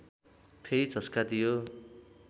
फेरि झस्का दियो